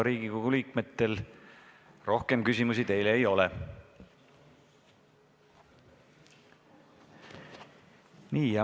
Riigikogu liikmetel teile rohkem küsimusi ei ole.